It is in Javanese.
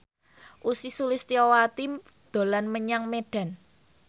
Ussy Sulistyawati dolan menyang Medan